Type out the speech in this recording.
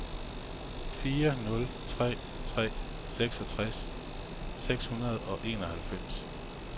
fire nul tre tre seksogtres seks hundrede og enoghalvfems